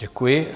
Děkuji.